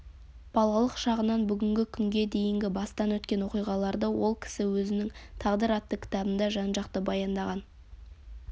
балалық шағынан бүгінгі күнге дейінгі бастан өткен оқиғаларды ол кісі өзінің тағдыр атты кітабында жан-жақты баяндаған